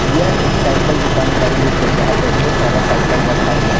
यह एक साइकल दुकान का दृश्य है जहां पे ढेर सारा साइकल रखा हुआ है।